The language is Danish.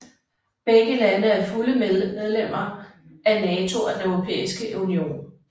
Begge lande er fulde medlemmer af NATO og Den Europæiske Union